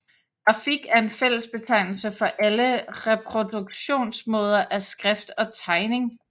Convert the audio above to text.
Grafik er en fællesbetegnelse for alle reproduktionsmåder af skrift og tegning